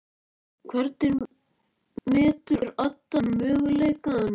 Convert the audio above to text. Hvernig metur Adda möguleikana?